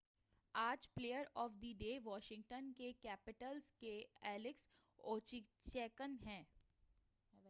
آج player of the day Washington Capitals کے Alex Ovechkin ہیں